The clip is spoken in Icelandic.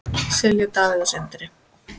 Silja, Davíð og Sindri.